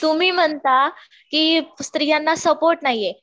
तुम्ही म्हणता स्त्रियांना सपोर्ट नाहीये